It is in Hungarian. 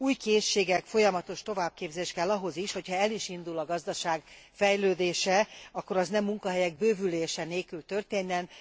Új készségek, folyamatos továbbképzés kell ahhoz is, hogyha el is indul a gazdaság fejlődése, akkor az ne munkahelyek bővülése nélkül történjen.